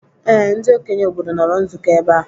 Ee, ndị okenye obodo nọrọ nzukọ ebe a.